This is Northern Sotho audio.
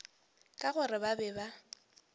ka gore ba be ba